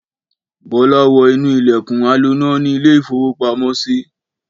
Bọ́lá wọ inú ilẹ̀kùn aloná ní ilé-ìfowópamọ́sí.